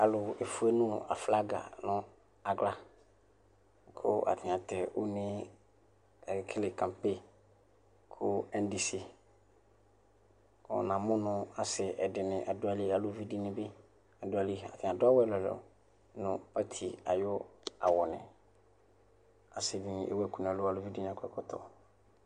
Alʋ efʋenʋ aflaga nʋ aɣla kʋ atani atɛ une kʋ akekele kampe kʋ ɛndisi kʋ namʋ nʋ adi ɛdini dʋ ayili nʋ alʋvi dini bi adʋ ayili atani adʋ awʋ ɛlʋ ɛlʋ nʋ ɔti ayʋ awvni asidini ewʋ ɛkʋ nʋ ɛlʋ kʋ alʋvi dini akɔ ɛkɔtɔ